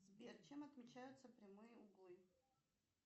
сбер чем отмечаются прямые углы